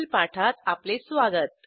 वरील पाठात आपले स्वागत